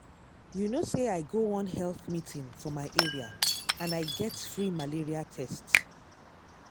you know say i go one health meeting for my area and i get free malaria test.